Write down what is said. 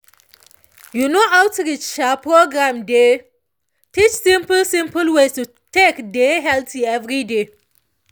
you know outreach um programs dey teach simple simple ways to take dey healthy every day